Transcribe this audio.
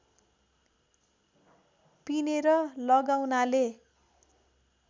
पिनेर लगाउनाले